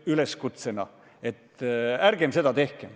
Ärgem seda tehkem!